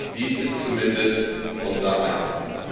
Dies ist zumindest unser Eindruck.